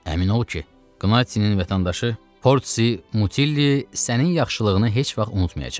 Əmin ol ki, Qnattsinin vətəndaşı Portsi Mutilli sənin yaxşılığını heç vaxt unutmayacaq.